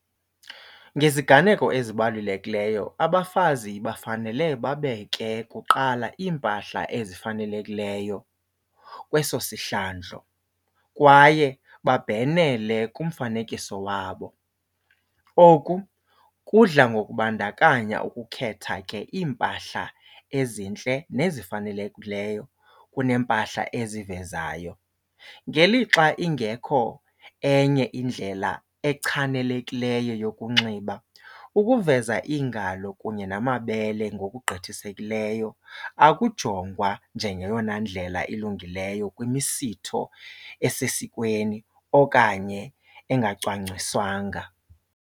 Ngeziganeko ezibalulekileyo abafazi bafanele babeke kuqala iimpahla ezifanelekileyo kweso sihlandlo kwaye babhenele kumfanekiso wabo. Oku kudla ngokubandakanya ukukhetha ke iimpahla ezintle nezifanelekileyo kuneempahla ezivezayo. Ngelixa ingekho enye indlela echanelekileyo yokunxiba, ukuveza iingalo kunye namabele ngokugqithisekileyo akujongwa njengeyona ndlela ilungileyo kwimisitho esesikweni okanye engacwangciswanga.